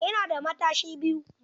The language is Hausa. Ina da matashi biyu.